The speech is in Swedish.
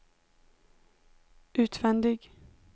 utvändig